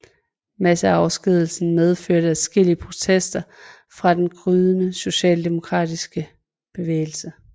Masseafskedigelsen medførte adskillige protester fra den gryende socialdemokratiske bevægelse